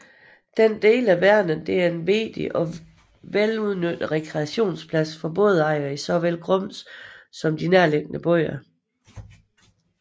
Denne del af Vänern er en vigtig og vel udnyttet rekreationsplads for bådejere i såvel Grums som de nærliggende byer